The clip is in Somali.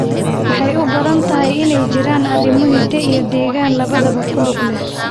Waxay u badan tahay inay jiraan arrimo hidde iyo deegaan labadaba ku lug leh.